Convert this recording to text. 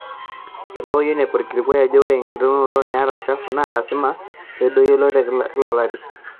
Eitawuo UNEP olkilikuai ojo ore ekitaunoto eilata shafu naa lasima peedoyio e ile te kila olari.